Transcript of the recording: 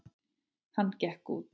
Hann gekk út.